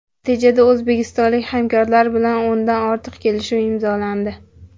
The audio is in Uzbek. Natijada o‘zbekistonlik hamkorlar bilan o‘ndan ortiq kelishuv imzolandi.